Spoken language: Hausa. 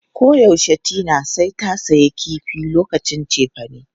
Koyaushe Tina sai ta sayi kifi lokacin cefane.